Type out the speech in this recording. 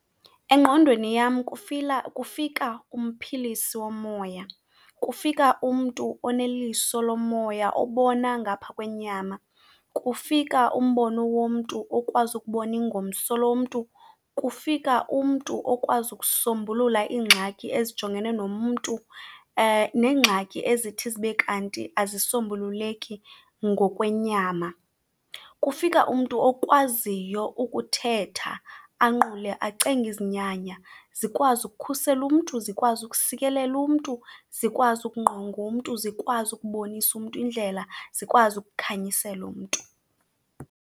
Engqondweni yam kufika umphilisi womoya, kufika umntu oneliso lomoya obona ngaphaa kwenyama. Kufika umbono womntu okwazi ukubona ingomso lomntu, kufika umntu okwazi ukusombulula iingxaki ezijongene nomntu neengxaki ezithi zibe kanti azisombululeki ngokwenyama. Kufika umntu okwaziyo ukuthetha, anqule, acenge izinyanya zikwazi ukukhusela umntu, zikwazi ukusikeleleka umntu, zikwazi ukungqonga umntu, zikwazi ukubonisa umntu indlela, zikwazi akukhanyisela umntu.